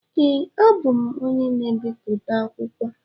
Ee, abụ m onye na-ebipụta akwụkwọ.